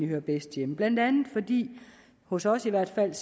hører bedst hjemme blandt andet fordi vi hos os i hvert fald